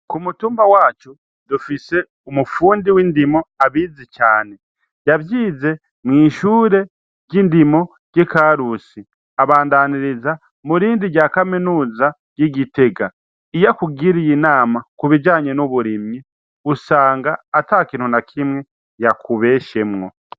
Ku mutumba wacu dufise umupfundi w'indimo abizi cane yavyize mw'ishure ry'indimo ry'ikarusi abandaniriza mu rindi rya kaminuza ry'igitega iyo akugiriye inama kubijanye n'uburimyi gusanga ata kintuna kimwe yakubeshemwo.